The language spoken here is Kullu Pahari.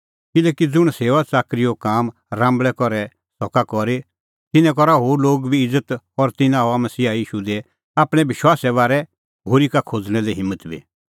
किल्हैकि ज़ुंण सेऊआच़ाकरीओ काम राम्बल़ै करै सका करी तिन्नें करा होर लोग इज़त और तिन्नां हआ मसीहा ईशू दी आपणैं विश्वासे बारै होरी का खोज़णें हिम्मत बी